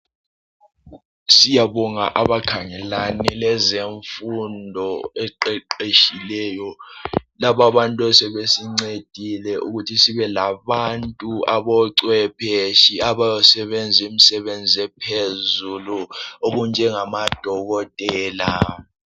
Siyabonga abakhangelane lezemfundo eqeqetshileyo laba abantu sebesincedile ukuthi sibe labantu aboncwephetshi abosebenza imisebenzi ephezulu okunjengamadokotela.